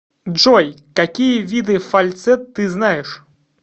джой какие виды фальцет ты знаешь